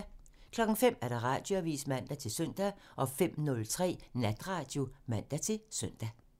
05:00: Radioavisen (man-søn) 05:03: Natradio (man-søn)